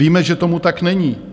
Víme, že tomu tak není.